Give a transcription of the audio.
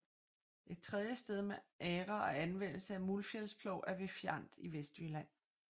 Et tredje sted med agre og anvendelse af muldfjælsplov er ved Fjand i Vestjylland